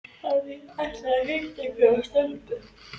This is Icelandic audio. Hann ætlar að hitta einhverja stelpu